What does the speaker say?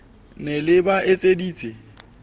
le ne le ba etseditse